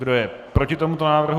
Kdo je proti tomuto návrhu?